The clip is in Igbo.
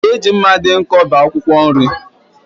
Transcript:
Ị ga-eji mma dị nkọ bee akwụkwọ nri?